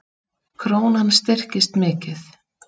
Krónan styrkist mikið